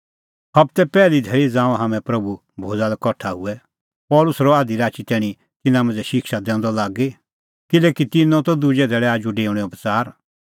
हबते पैहली धैल़ी ज़ांऊं हाम्हैं प्रभू भोज़ा लै कठा हुऐ पल़सी रहअ आधी राची तैणीं तिन्नां मांझ़ै शिक्षा दैंदअ लागी किल्हैकि तिन्नों दुजै धैल़ै आजू डेऊणेओ बच़ार